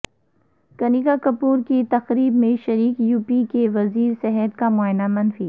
کنیکا کپور کی تقریب میں شریک یو پی کے وزیر صحت کا معائنہ منفی